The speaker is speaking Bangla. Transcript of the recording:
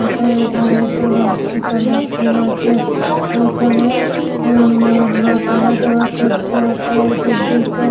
অতএব এটা রাত্রি কালার -এর সিন আছে। ওইখানে উম লোক আওয়া যাওয়া করছে। ওতে বিল্ডিং তে--